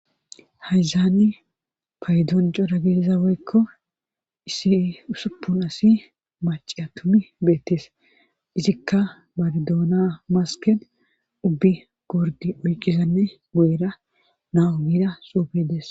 hayzaani faydon cora gidiza woykko issi usuppun asi maci a tumi beettes izikka badidoona masken ubbi gurdi oyqqizanne go7era nahu gida xuufedes